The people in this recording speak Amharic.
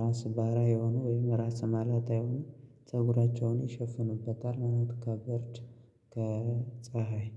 ራሰ በራ የሆኑ ወይም ራስ መላጣ የሆኑ ፀጉራቸውን ይሸፍኑበታል ማለት ነው። ከብርድ ከፀሀይ